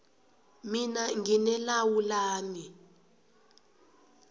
mina ngine lawu lami